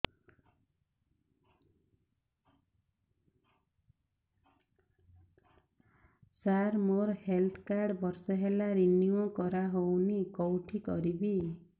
ସାର ମୋର health card ବର୍ଷେ ହେଲା ରିନିଓ କରା ହଉନି କଉଠି କରିବି